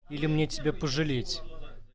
или мне тебя пожалеть